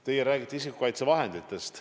Teie räägite isikukaitsevahenditest.